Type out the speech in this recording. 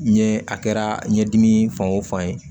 Ɲɛ a kɛra ɲɛdimi fan o fan ye